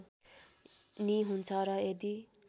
नि हुन्छ र यदि